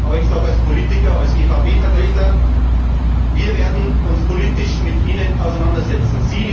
Aber ich sage als Politiker, als EVP Vertreter Wir werden uns politisch mit Ihnen auseinandersetzen.